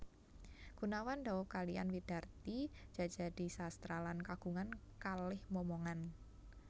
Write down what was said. Goenawan daub kaliyan Widarti Djajadisastra lan kagungan kalih momongan